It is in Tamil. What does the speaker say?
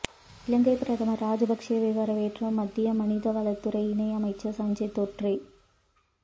இலங்கை பிரதமர் ராஜபக்சேவை வரவேற்ற மத்திய மனிதவளத்துறை இணையமைச்சர் சஞ்சய் தோட்ரே